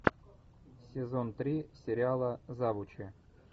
сезон три сериала завучи